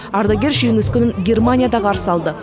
ардагер жеңіс күнін германияда қарсы алды